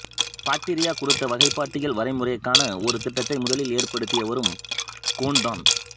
bacteria குறித்த வகைப்பாட்டியல் வரைமுறைக்கான ஒரு திட்டத்தை முதலில் ஏற்படுத்தியவரும் கோன் தான்